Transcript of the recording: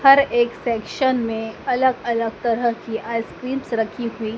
हर एक सेक्शन्स में अलग-अलग तरह की आइसक्रीम्स रखी हुई --